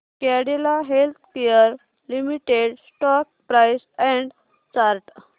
Cadila healthcare limited stock price and chart